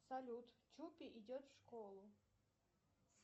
салют чупи идет в школу